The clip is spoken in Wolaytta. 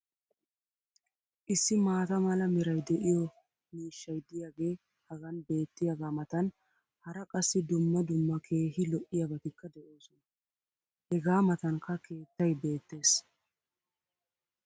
issi maata mala meray de'iyo miishshay diyaagee hagan beetiyaagaa matan hara qassi dumma dumma keehi lo'iyaabatikka de'oosona. hegaa matankka keettay beetees.